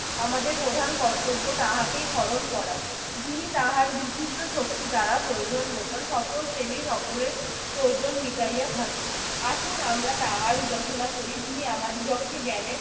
আমাদের প্রধান কর্তব্য তাহাকেই স্মরণ করা। যিনি তাহার বিচিত্র শক্তি দ্বারা প্রয়োজন মত সকল শ্রেণির সকলের প্রয়োজন মিটাইয়া থাকেন। আসুন আমরা তাহার উপাসনা করি যিনি আমাদিগকে জ্ঞানের